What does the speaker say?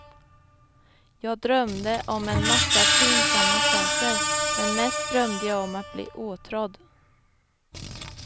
Jag drömde om en massa pinsamma saker men mest drömde jag om att bli åtrådd.